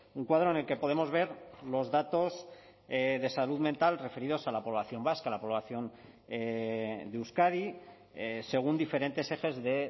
un cuadro en el que podemos ver los datos de salud mental referidos a la población vasca a la población de euskadi según diferentes ejes de